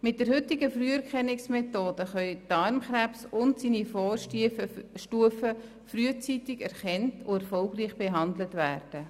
Mit der heutigen Früherkennungsmethode können Darmkrebs und seine Vorstufen frühzeitig erkannt und erfolgreich behandelt werden.